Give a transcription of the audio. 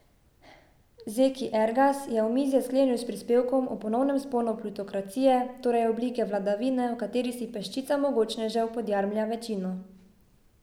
Zeki Ergas je omizje sklenil s prispevkom o ponovnem vzponu plutokracije, torej oblike vladavine, v kateri si peščica mogočnežev podjarmlja večino.